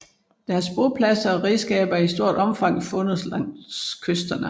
Deres bopladser og redskaber er i stort omfang fundet langs kysterne